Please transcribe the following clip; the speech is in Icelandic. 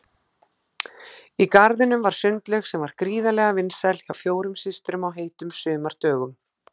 Í garðinum var sundlaug sem var gríðarlega vinsæl hjá fjórum systrum á heitum sumardögum.